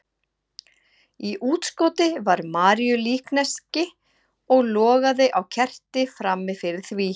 Í útskoti var Maríulíkneski og logaði á kerti frammi fyrir því.